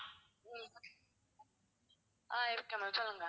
ஆஹ் இருக்கேன் ma'am சொல்லுங்க